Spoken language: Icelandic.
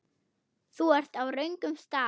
Þú ert á röngum stað